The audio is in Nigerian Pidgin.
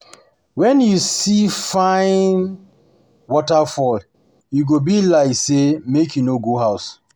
Wen you see fine um waterfall, e go be like say um make you no go house.